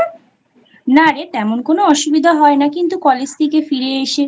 না রে তেমন কোনো অসুবিধা হয় না কিন্তু CollegeLang:Eng থেকে ফিরে এসে